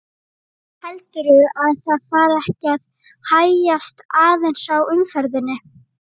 Heldurðu að það fari ekki að hægjast aðeins á umferðinni?